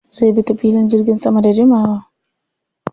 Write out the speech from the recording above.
Zai bi ta filin jirgin sama da jimawa.